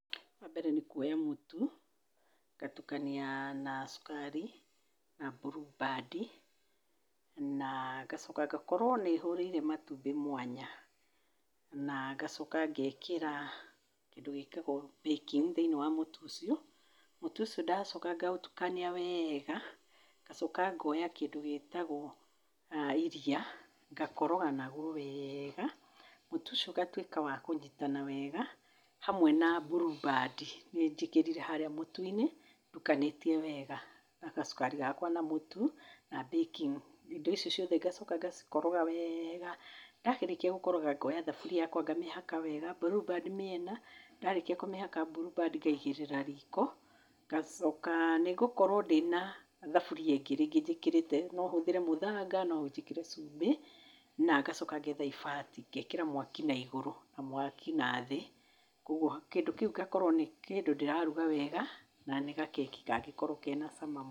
Wambere nĩ kuoya mũtu, ngatukania na cukari, na Blue Band na ngacoka ngakorwo nĩ hũrĩire matumbĩ mwanya. Na ngacoka ngekĩra kĩndũ gĩtagwo baking, thĩinĩ wa mũtu, mũtu ũcĩo ngakorwo ngĩũtukania weega, ngacoka ngoya kĩndũ gĩtagwo iria, ngaroga nagwo wega, mũtu ũcio ũgakorwo wa kũnyitana wega, hamwe na Blue Band nĩ njĩkirire harĩa mũtu-inĩ, ndukanĩtie wega na gacukari gakwa na mũtu na baking. Indo icio ciothe ngacoka ngacikoroga weega, ndarĩkia gũcikoroga ngoya thaburia yakwa ngamĩhaka wega Blue Band mĩena, ndarĩkia kũmĩhaka Blue Band ngaigĩrĩra riko, ngacoka nĩngũkorwo ndĩna thaburia ingĩ, rĩngĩ njĩkĩrĩte. No hũthĩre mũthanga, no njĩkĩre cumbĩ, na ngacoka ngetha ibati, ngekĩra mwaki naigũrũ na mwaki nathĩ. Koguo kĩndũ kĩu gĩgakorwo nĩ kĩndũ ndĩraruga wega na nĩ gakeki kangĩkorwo kena cama mũno.